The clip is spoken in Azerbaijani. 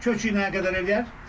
Kökü nə qədər eləyər?